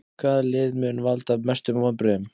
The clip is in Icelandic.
Hvaða lið mun valda mestum vonbrigðum?